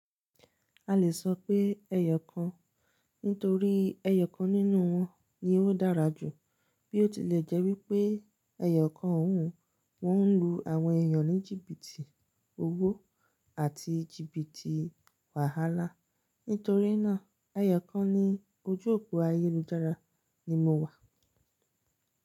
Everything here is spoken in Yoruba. A le sọ pe ẹyọ kan nítorí ẹyọ kan nínú wọn ni ó dára jù, bí ó tilẹ̀ jẹ́ wípé ẹyọ̀ kàn ọ̀ún wọ́n ń lu àwọn èyàn ní jìbìtì owó àti jìbìtì wàhálà. Nítorínà ẹyọ̀ kàn ní ojú òpó ayélujára ni mo wà.